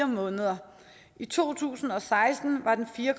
måneder i to tusind og seksten var den fire